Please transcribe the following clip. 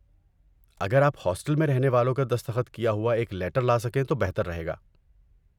اگر آپ ہاسٹل میں رہنے والوں کا دستخط کیا ہوا ایک لیٹر لا سکیں تو بہتر رہے گا۔